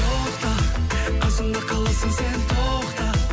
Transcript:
тоқта қасымда қаласың сен тоқта